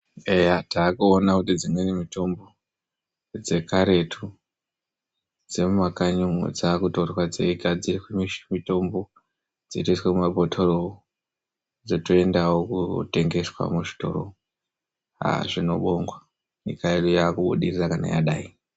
Eya, taakuona kuti dzimweni mitombo dzekaretu dzemuma kanyi umo, dzakutorwa dzeigadziriswe mitombo dzotoiswe mumabhotoro, dzotoendavo kunotengeswa muzvitoro. Zvinobongwa nyika yedu yakubudirira kana yadai.